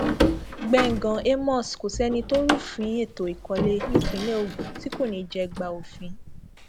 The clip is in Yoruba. gbẹngàn amos kò sẹni tó rúfin ètò ìkọlé nípínlẹ ogun tí kò ní í jẹgbà òfin